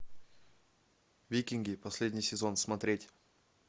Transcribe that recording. викинги последний сезон смотреть